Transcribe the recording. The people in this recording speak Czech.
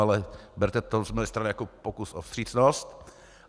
Ale berte to z mé strany jako pokus o vstřícnost.